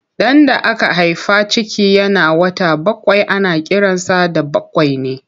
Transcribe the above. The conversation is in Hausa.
Ɗan da aka haifa ciki yana wata bakwai ana kiransa da bakwaini.